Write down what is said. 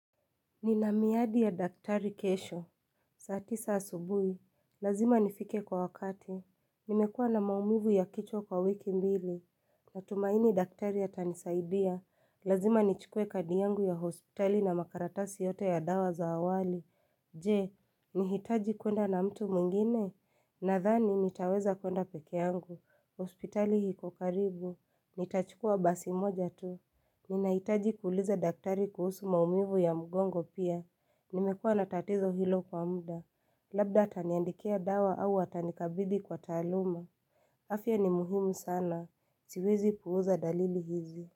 Nina miadi ya daktari kesho. Saa tisa asubuhi. Lazima nifike kwa wakati. Nimekua na maumivu ya kichwa kwa wiki mbili. Natumaini daktari atanisaidia. Lazima nichukue kadi yangu ya hospitali na makaratasi yote ya dawa za awali. Je, nahitaji kuenda na mtu mwingine. Nadhani, nitaweza kuenda pekee yangu. Hospitali iko karibu. Nitachukua basi moja tu. Ninahitaji kuuliza daktari kuhusu maumivu ya mgongo pia. Nimekuwa natatizo hilo kwa muda. Labda ataniandikia dawa au atanikabidhi kwa taaluma. Afya ni muhimu sana. Siwezi puuza dalili hizi.